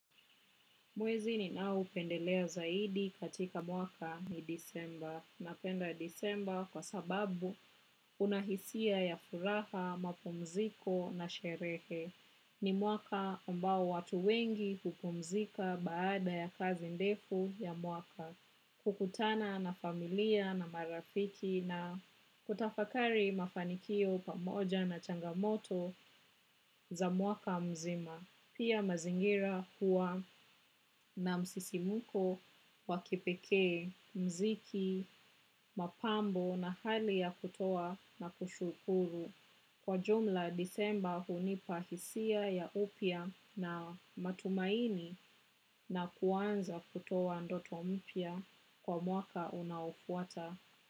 Mwezi ninaoupendelea zaidi katika mwaka ni disemba. Napenda disemba kwa sababu unahisia ya furaha, mapumziko na sherehe ni mwaka ambao watu wengi hupumzika baada ya kazi ndefu ya mwaka, kukutana na familia na marafiki na kutafakari mafanikio pamoja na changamoto za mwaka mzima. Pia mazingira huwa na msisimuko wakipekee, mziki, mapambo na hali ya kutoa na kushukuru. Kwa jumla, disemba hunipa hisia ya upya na matumaini na kuanza kutoa ndoto mpya kwa mwaka unaofuata.